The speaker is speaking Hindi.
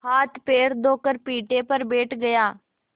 हाथपैर धोकर पीढ़े पर बैठ गया